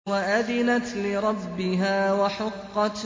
وَأَذِنَتْ لِرَبِّهَا وَحُقَّتْ